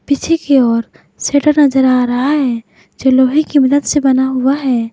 पीछे की ओर शटर नजर आ रहा है जो लोहे की मदद से बना हुआ है।